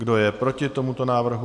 Kdo je proti tomuto návrhu?